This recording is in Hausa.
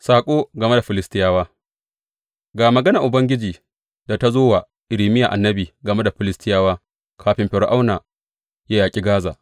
Saƙo game da Filistiyawa Ga maganar Ubangiji da ta zo wa Irmiya annabi game da Filistiyawa kafin Fir’auna ya yaƙi Gaza.